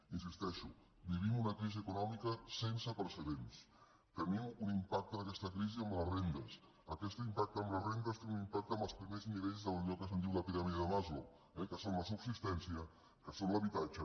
hi insisteixo vivim una crisi econòmica sense precedents tenim un impacte d’aquesta crisi en les rendes aquest impacte en les rendes té un impacte amb els primers nivells d’allò que es diu la piràmide de maslow eh que són la subsistència que són l’habitatge